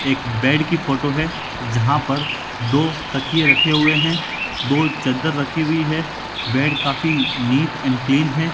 एक बेड की फोटो है जहां पर दो तकिए रखे हुए हैं दो चद्दर रखी हुई है बेड काफी नीट एंड क्लीन है।